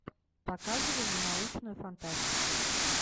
показывай не научную фантастику